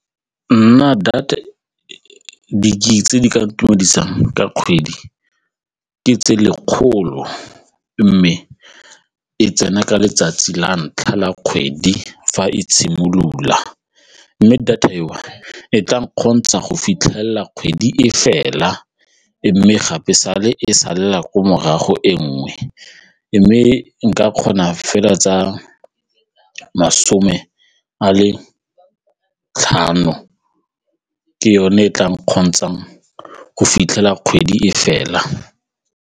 Nna di-gig-e tse di ka ntumedisang ka kgwedi ke tse lekgolo mme e tsena ka letsatsi la ntlha la kgwedi fa e simolola mme data eo e tla go fitlhelela kgwedi e fela mme gape sale e sala ko morago e nngwe mme nka kgona fela tsa masome a le tlhano ke yone e e tla nkgontshang go fitlhela kgwedi e fela.